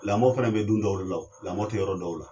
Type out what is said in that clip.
Lamɔ fana bɛ du dɔw la, lamɔ tɛ yɔrɔ dɔw la.